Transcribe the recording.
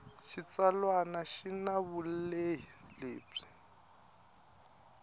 xitsalwana xi na vulehi lebyi